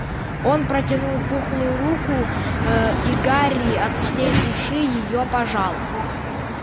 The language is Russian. он протянул пухлую руку ээ и гарри от всей души её пожал